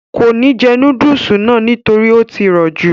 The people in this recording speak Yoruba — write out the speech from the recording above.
kò ní jẹ núdùsì náà nítorí ó tí rọ̀ jù